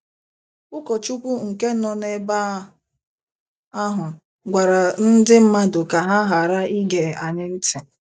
Ụkọchukwu nke nọ n’ebe ahụ gwara ndị mmadụ ka ha ghara ige anyị ntị.